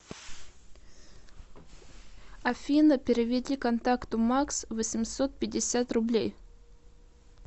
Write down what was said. афина переведи контакту макс восемьсот пятьдесят рублей